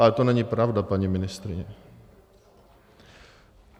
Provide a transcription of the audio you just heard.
Ale to není pravda, paní ministryně.